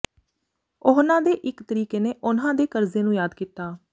ਉਹਨਾਂ ਦੇ ਇਕ ਤਰੀਕੇ ਨੇ ਉਨ੍ਹਾਂ ਦੇ ਕਰਜ਼ੇ ਨੂੰ ਯਾਦ ਕੀਤਾ